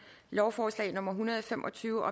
lovforslag nummer hundrede og fem og tyve